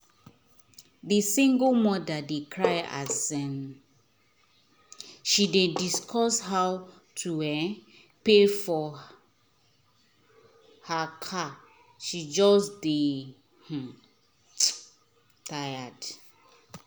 the single mother dey cry as um she dey discuss how to um pay for her car she just dey um tired